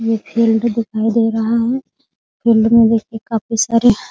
ये फील्ड दिखाई दे रहा है फील्ड में देखिए काफी सारे --